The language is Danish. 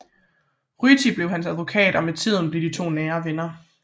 Ryti blev hans advokat og med tiden blev de to nære venner